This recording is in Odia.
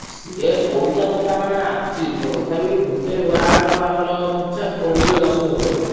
ସିଏ ପଇସା କଥା ମାନେ ତଥାପି ଗୋଟେ ward ର ଆମର ପିଛା ପଡିଯିବ ଦଶ ଲକ୍ଷ ଭଳିଆ।